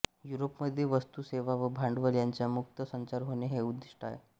युरोपमध्ये वस्तू सेवा व भांडवल यांचा मुक्त संचार होणे हे उद्दिष्ट आहे